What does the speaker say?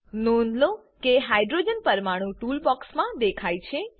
નોધ લો કે હાઇડ્રોજન પરમાણુ ટૂલ બોક્સ માં દેખાય છે